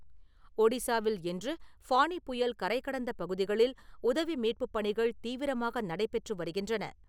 ஒடிசாவில், இன்று ஃபானி புயல் கரைகடந்த பகுதிகளில் உதவி மீட்புப் பணிகள் தீவிரமாக நடைபெற்று வருகின்றன.